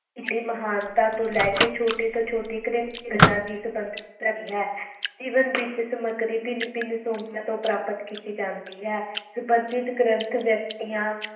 ਦੀ ਮਹਾਨਤਾ ਤੋਂ ਲੈਕੇ ਛੋਟੀ ਤੋਂ ਛੋਟੀ ਗ੍ਰਿਹਸਤ ਗੱਲਾਂ ਦੀ ਸੰਬੰਧਤ ਹੈ ਜੀਵਨ ਵਿਚ ਸਮਗਰੀ ਭਿਨ ਭਿਨ ਸਰੋਤਿਆਂ ਤੋਂ ਪ੍ਰਾਪਤ ਕੀਤੀ ਜਾਂਦੀ ਹੈ ਸੰਬੰਧਿਤ ਗਰੰਥ ਵਿਅਕਤੀਆਂ